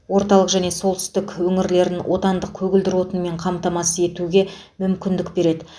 орталық және солтүстік өңірлерін отандық көгілдір отынмен қамтамасыз етуге мүмкіндік береді